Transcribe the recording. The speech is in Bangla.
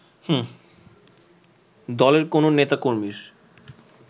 দলের কোন নেতা-কর্মীর